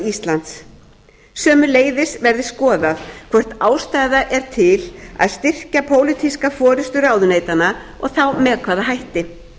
íslands sömuleiðis verði skoðað hvort ástæða sé til að styrkja pólitíska forustu ráðuneytanna og þá með hvaða hætti